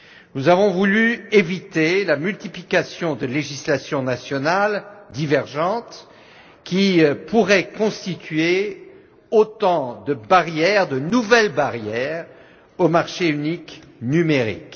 Nous avons voulu éviter la multiplication de législations nationales divergentes qui pourraient constituer autant de nouvelles barrières au marché unique numérique.